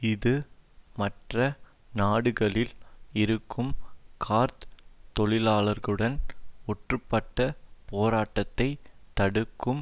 இது மற்ற நாடுகளில் இருக்கும் கார்த் தொழிலாளர்களுடன் ஒன்றுபட்ட போராட்டத்தை தடுக்கும்